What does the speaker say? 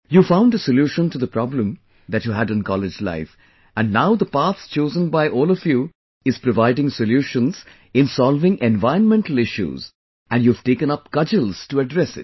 You found a solution to the problem that you had in college life and now the path chosen by all of you is providing solutions in solving environmental issues and you have taken up cudgels to address it